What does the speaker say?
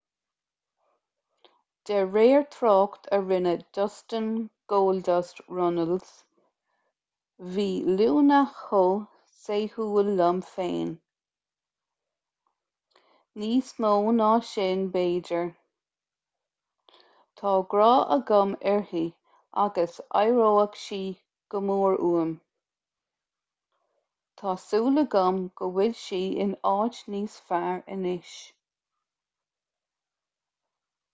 de réir trácht a rinne dustin goldust runnels bhí luna chomh saoithiúil liom féin...níos mó ná sin b'fhéidir...tá grá agam uirthi agus aireoidh sí go mór uaim...tá súil agam go bhfuil sí in áit níos fearr anois.